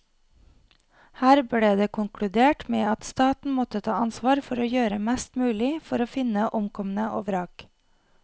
Her ble det konkludert med at staten måtte ta ansvar for å gjøre mest mulig for å finne omkomne og vrak.